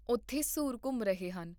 ਉੱਥੇ ਸੂਰ ਘੁੰਮ ਰਹੇ ਹਨ